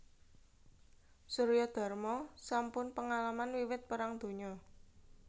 Suryadarma sampun pengalaman wiwit Perang Donya